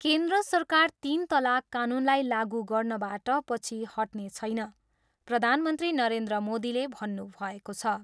केन्द्र सरकार तिन तलाक कानुनलाई लागु गर्नबाट पछि हट्ने छैन, प्रधानमन्त्री नरेन्द्र मोदीले भन्नुभएको छ।